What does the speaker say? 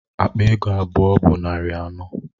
Akpa ego abụọ bụ narị anọ.